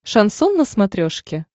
шансон на смотрешке